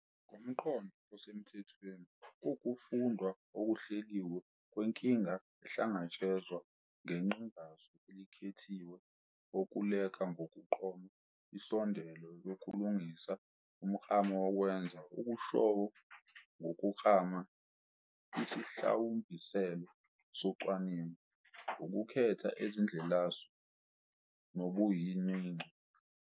Ngomqondo osemthethweni, kuwukufundwa okuhleliwe kwenkinga ehlangatshezwa ngeqhingasu elikhethiwe okuleka ngokuqoma insondelo yokulungisa umklamo nokwenza okushoyo ngokuklama isihlawumbiselo socwaningo, ukukhetha izindlelasu nobunyoninco, ukukhetha noma ukuthuthukisa amathuluzi wokuqoqa imininingo, ukuhidanisa imininingo, ukuhlakahla nokupheza ngokwethula isixazululo saleyo nkinga.